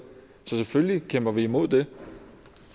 så selvfølgelig kæmper vi imod det